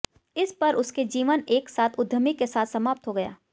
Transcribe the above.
इस पर उसके जीवन एक साथ उद्यमी के साथ समाप्त हो गया